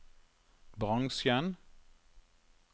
bransjen